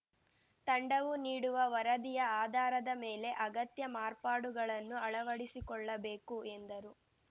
ತಂಡವು ನೀಡುವ ವರದಿಯ ಆಧಾರದ ಮೇಲೆ ಅಗತ್ಯ ಮಾರ್ಪಾಡುಗಳನ್ನು ಅಳವಡಿಸಿಕೊಳ್ಳಬೇಕು ಎಂದರು